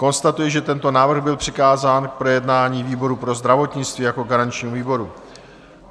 Konstatuji, že tento návrh byl přikázán k projednání výboru pro zdravotnictví jako garančnímu výboru.